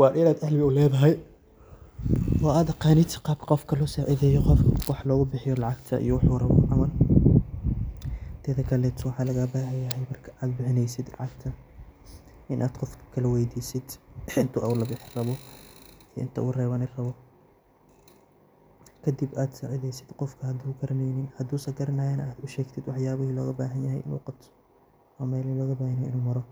wa inaad uledahay qibrad oo aad aqanid qabka qofka wax lugubixiyo oo lagubixiyo lacagta iyo wuxu rawo. Teda kale waxa lagagabahanyahay markad ad bixineysid lacag inad weydisid qofka inta uu labixi rawo iyo inta uu rweani rawo kadib ad sacideysid hadu garaneynin, hadu garanayana ad ushegtid wax yabihi uu garanaye iyo meel uu maro.